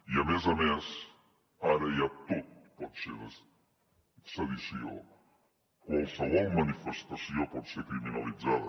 i a més a més ara ja tot pot ser sedició qualsevol manifestació pot ser criminalitzada